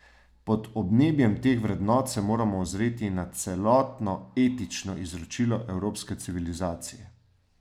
Pod obnebjem teh vrednot se moramo ozreti na celotno etično izročilo evropske civilizacije.